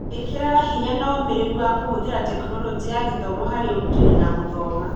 ĩkĩraga hinya na ũmĩrĩru wa kũhũthĩra Tekinoronjĩ ya Gĩthomo harĩ ũrutani na gũthoma.